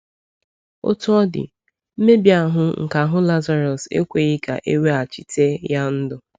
Otú ọ dị, mmebi ahụ́ nke ahụ̀ Lazarus ekweghị ka e weghachite ya ndụ.